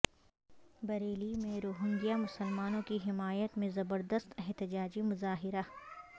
بریلی میں روہنگیا مسلمانوں کی حمایت میں زبردست احتجاجی مظاہرہ